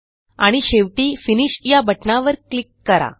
आणि शेवटी फिनिश या बटणावर क्लिक करा